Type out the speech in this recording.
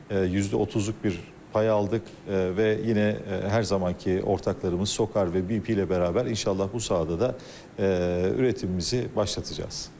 Yüzdə 30-luq bir pay aldıq və yenə hər zamanki ortaklarımız SOKAR və BP ilə bərabər inşallah bu sahədə də üretimimizi başlatacaz.